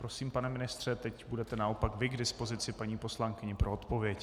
Prosím, pane ministře, teď budete naopak vy k dispozici paní poslankyni pro odpověď.